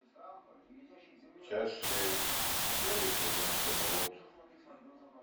часть шесть первый сезон камелот